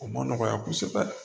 O ma nɔgɔya kosɛbɛ